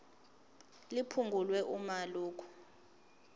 liphungulwe uma lokhu